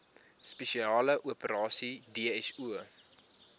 spesiale operasies dso